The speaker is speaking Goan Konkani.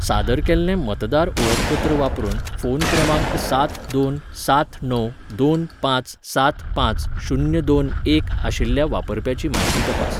सादर केल्लें मतदार ओळखपत्र वापरून फोन क्रमांक सात दोन सात णव दोन पांच सात पांच शून्य दोन एक आशिल्ल्या वापरप्याची म्हायती तपास.